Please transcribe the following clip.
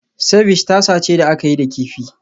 Ceviche tasa ce da aka yi da kifi